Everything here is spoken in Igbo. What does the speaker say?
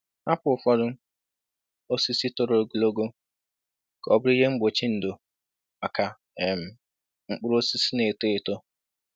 Hapụ ụfọdụ osisi toro ogologo ka ọ bụrụ ihe mgbochi ndo maka um mkpụrụ osisi na-eto eto.